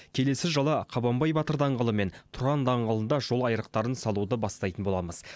келесі жылы қабанбай батыр даңғылы мен тұран даңғылында жол айрықтарын салуды бастайтын боламыз